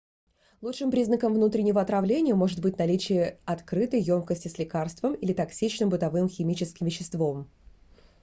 лучшим признаком внутреннего отравления может быть наличие открытой ёмкости с лекарством или токсичным бытовым химическим веществом